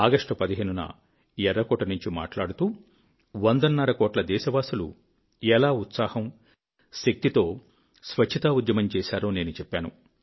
August fifteen న ఎఱ్ఱకోట నుంచి మాటలాడుతూ వందన్నర కోట్ల దేశవాసులు ఎలా ఉత్సాహం శక్తితో స్వచ్ఛతా ఉద్యమం చేశారో నేను చెప్పాను